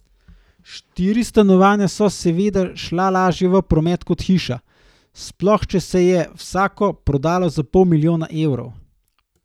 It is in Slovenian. Štiri stanovanja so seveda šla lažje v promet kot hiša, sploh če se je vsako prodalo za pol milijona evrov.